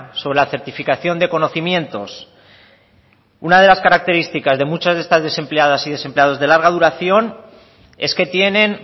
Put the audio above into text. sobre la certificación de conocimientos una de las características de muchas de estas desempleadas y desempleados de larga duración es que tienen